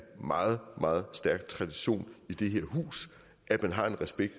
meget meget stærk tradition i det her hus at man har respekt